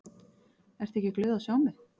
Ertu ekki glöð að sjá mig?